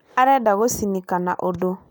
Arenda gũcinika na andũ